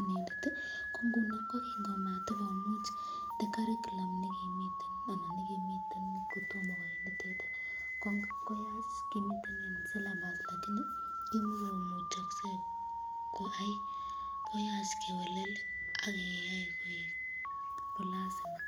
ii ,kingo matokomuch curriculum nekimiten kotomo koit komiten syllabus lakini kimakomuchakse koyai ,koyach kewal akeyai koek lazima